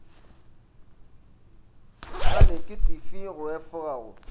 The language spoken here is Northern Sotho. la neketifi go efoga go